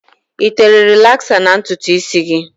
I tere rịlaksa na ntutu isi gị?